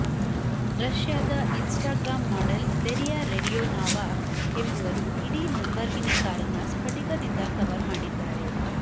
ರಷ್ಯಾದ Instagram model Daria Radionova ಎಂಬವರು ಇಡೀ ಲುಂಬರ್ಗಿನಿ ಕಾರನ್ನ ಸ್ಫಟಿಕದಿಂದ ಕವರ್ ಮಾಡಿದ್ದಾರೆ